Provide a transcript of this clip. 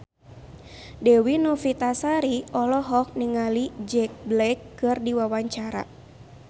Dewi Novitasari olohok ningali Jack Black keur diwawancara